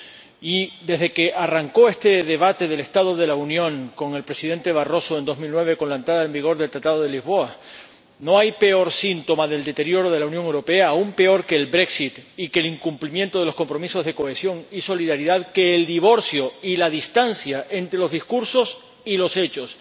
Y desde que arrancó este debate del estado de la Unión con el Presidente Barroso, en 2009, con la entrada en vigor del Tratado de Lisboa, no hay peor síntoma del deterioro de la Unión Europea —aún peor que el y que el incumplimiento de los compromisos de cohesión y solidaridad— que el divorcio y la distancia entre los discursos y los hechos.